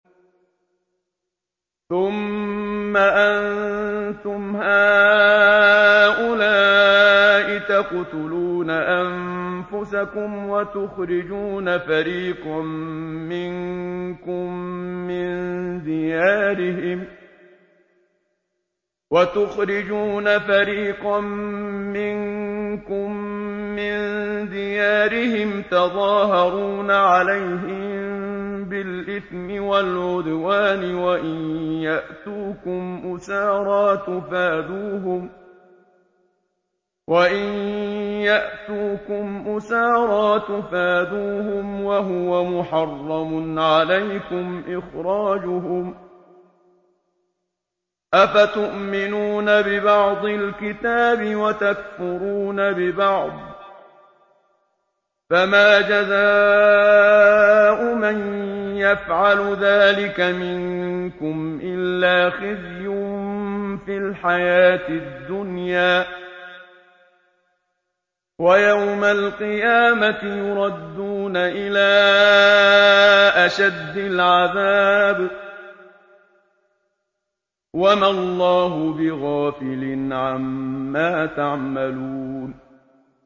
ثُمَّ أَنتُمْ هَٰؤُلَاءِ تَقْتُلُونَ أَنفُسَكُمْ وَتُخْرِجُونَ فَرِيقًا مِّنكُم مِّن دِيَارِهِمْ تَظَاهَرُونَ عَلَيْهِم بِالْإِثْمِ وَالْعُدْوَانِ وَإِن يَأْتُوكُمْ أُسَارَىٰ تُفَادُوهُمْ وَهُوَ مُحَرَّمٌ عَلَيْكُمْ إِخْرَاجُهُمْ ۚ أَفَتُؤْمِنُونَ بِبَعْضِ الْكِتَابِ وَتَكْفُرُونَ بِبَعْضٍ ۚ فَمَا جَزَاءُ مَن يَفْعَلُ ذَٰلِكَ مِنكُمْ إِلَّا خِزْيٌ فِي الْحَيَاةِ الدُّنْيَا ۖ وَيَوْمَ الْقِيَامَةِ يُرَدُّونَ إِلَىٰ أَشَدِّ الْعَذَابِ ۗ وَمَا اللَّهُ بِغَافِلٍ عَمَّا تَعْمَلُونَ